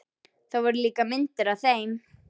Það voru líka myndir af þeim.